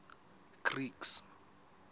greeks